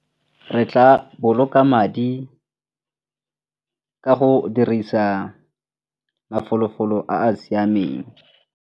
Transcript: Re tla boloka madi ka go dirisa mafolofolo a a siameng.